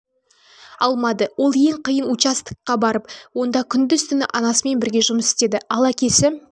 алмады ол ең қиын участок барып онда күндіз-түні анасымен бірге жұмыс істеді ал әкесі